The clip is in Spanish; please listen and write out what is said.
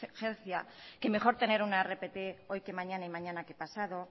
urgencia que mejor tener una rpt hoy que mañana y mañana que pasado